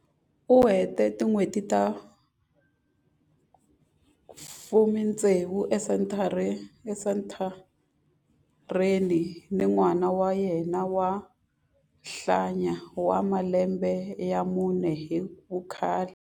U hete tin'hweti ta 46 esenthareni ni n'wana wa yena wa nhwanyana wa malembe ya mune hi vukhale.